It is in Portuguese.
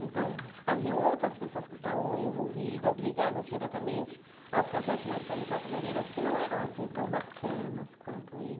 Então, haviam outras pessoas que estavam envolvidas, ligadas diretamente aos casais de mestre e Porta bandeiras, que não eram, assim, tão bacanas quanto ele.